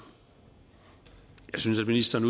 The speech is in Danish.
jeg synes at ministeren